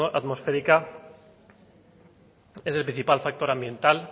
atmosférica es el principal factor ambiental